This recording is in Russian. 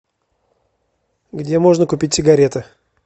где можно купить сигареты